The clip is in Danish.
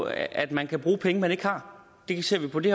af at man kan bruge penge man ikke har det ser vi på det